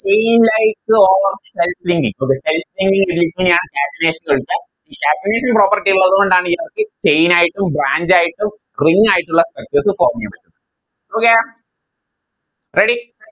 In light or self linkingokay self linking ഇല്ലെങ്കിൽ എങ്ങനെയാ catenation നടക്ക Catenation property ഉള്ളതുകൊണ്ടാണ് Chain ആയിട്ടും Branch ആയിട്ടും Ring ആയിട്ടും ഉള്ള Structures form ചെയ്യുന്നേ Okay Ready